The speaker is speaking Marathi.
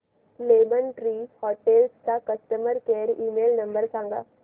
लेमन ट्री हॉटेल्स चा कस्टमर केअर ईमेल नंबर सांगा